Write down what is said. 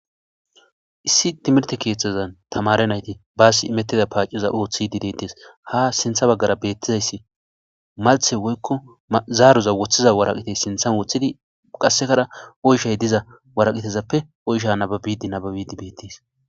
issi timirte keeththazan tamare nayti baasi imettida paaciza ooththidi deettes ha sintha baggara beettizayssi malthe woykko zaaruza woththiza waraqitey sinthan woththidi qassekara oyshay diza waraqitezappe oysha nababidi nababidi beettes